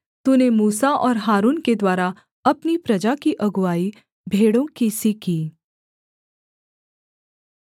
तूने मूसा और हारून के द्वारा अपनी प्रजा की अगुआई भेड़ों की सी की